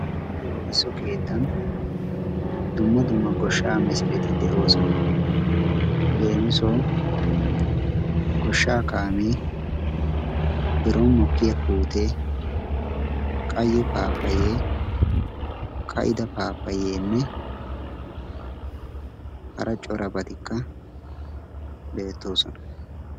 ha lohisso keettan dumma dumma goshsha buqurati de'oosona. leemisuwaw goshsha kaame biron mokkiyaa puute, qayye apapyye, kaa'ida pappaye hara corabatikka beettoosona.